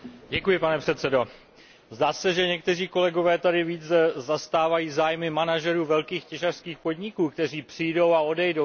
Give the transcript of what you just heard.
Pane předsedající, zdá se, že někteří kolegové tady více zastávají zájmy manažerů velkých těžařských podniků, kteří přijdou a odejdou.